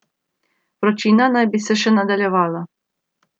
Vročina naj bi se še nadaljevala.